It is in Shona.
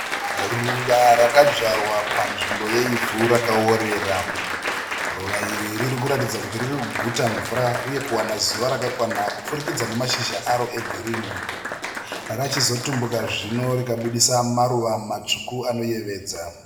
Ruva rakadzvarwa panzvimbo yeivhu rakaworera. Ruva iri riri kuratidza kuti riri kuguta mvura uye kuwana zuva rakakwana kupfurikidza nemashizha aro egirinhi. Rachizotumbuka zvino rikabudisa maruva matsvuku anoyevedza.